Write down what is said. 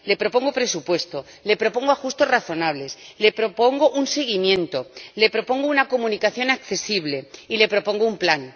Le propongo presupuesto, le propongo ajustes razonables, le propongo un seguimiento, le propongo una comunicación accesible y le propongo un plan.